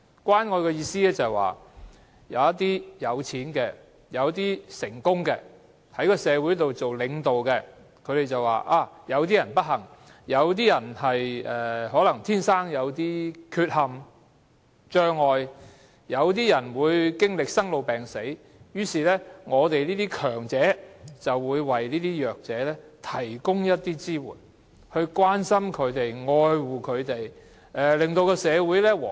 關愛的意思是，有一些有錢的、成功的、在社會擔任領導的人，他們認為有些人不幸，有些人天生有缺陷或障礙、有些人經歷生老病死的困苦，於是他們這些強者便會為弱者提供支援，從而表達關心、愛護，令社會更和諧。